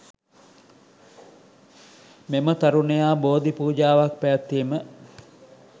මෙම තරුණයා බෝධි පූජාවක්‌ පැවැත්වීම